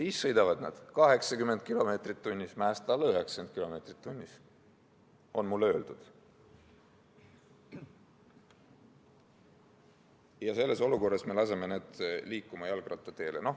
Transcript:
Nad sõidavad 80 km/h, mäest alla 90 km/h, nii on mulle öeldud – ja selles olukorras me laseme nad liikuma jalgrattateele.